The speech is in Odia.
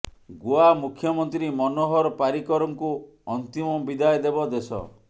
ଗୋଆ ମୁଖ୍ୟମନ୍ତ୍ରୀ ମନୋହର ପାରିକରଙ୍କୁ ଅନ୍ତିମ ବିଦାୟ ଦେବ ଦେଶ